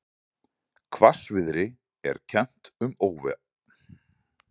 Hvassviðri er kennt um óhappið